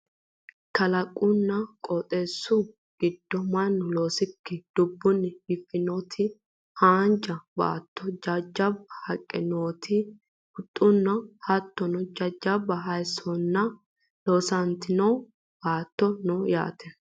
kalaqunna qooxeessu giddo mannu loosikkini dubbunni biiffinoti haanja baatto jajjabba haqqe nootenna huxxuno hattono jawa hayiissonna loosantino baattono no yaate